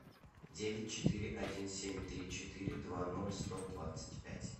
девять четыре один семь три четыре два ноль сто двадцать пять